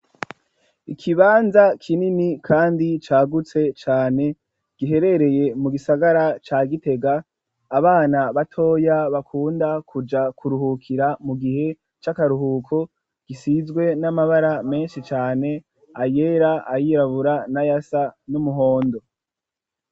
Ikibanza kinini kandi cagutse cane giherereye mu gisagara ca Gitega, abana batoya bakunda kuja kuruhukira mu gihe c'akaruhuko, gisizwe n'amabara menshi cane ayera ayirabura n'ayasa n'umuhondo.